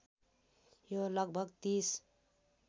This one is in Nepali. यो लगभग ३०